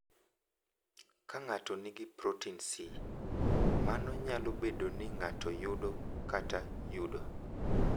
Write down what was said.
Ka ng’ato nigi protin C, mano nyalo bedo ni ng’ato yudo kata yudo.